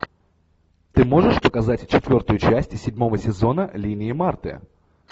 ты можешь показать четвертую часть седьмого сезона линия марты